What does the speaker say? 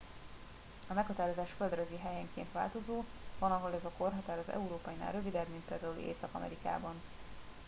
a meghatározás földrajzi helyenként változó van ahol ez a korhatár az európainál rövidebb mint például észak amerikában